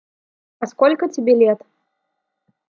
а сколько тебе лет